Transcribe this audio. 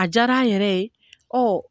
A diyara a yɛrɛ ye